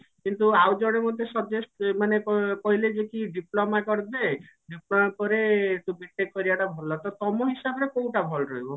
କିନ୍ତୁ ଆଇ ଜଣେ ମୋତେ suggest ମାନେ କ କହିଲେ ଯେ କି diploma କରିଦେ diploma ପରେ ତୁ B.TECH କରିବାଟା ଭଲ ତ ତମ ହିସାବ ରେ କଉଟା ଭଲ ରହିବ?